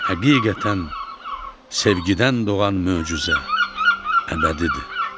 Həqiqətən, sevgidən doğan möcüzə əbədidir.